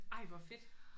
Ej hvor fedt